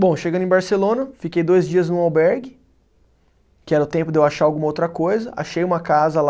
Bom, chegando em Barcelona, fiquei dois dias num albergue, que era o tempo de eu achar alguma outra coisa, achei uma casa lá,